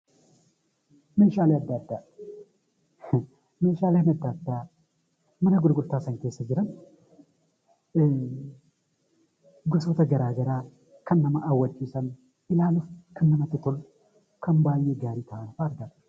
Meeshaaleen adda addaa mana gurgurtaa sana keessa jiran gosoota garaa garaa kan nama hawwachiisan, ilaaluuf kan namatti tolan, kan baay'ee gaarii ta'an fi addadha!